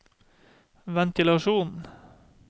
ventilasjon